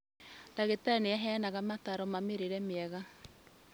Ndagĩtarĩ nĩaheanire mataro ma mũrĩre mwega